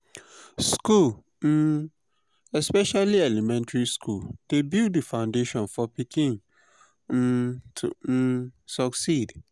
school um especially elementry school dey build di foundation for pikin um to um succeed